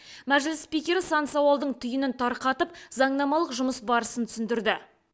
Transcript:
мәжіліс спикері сан сауалдың түйінін тарқатып заңнамалық жұмыс барысын түсіндірді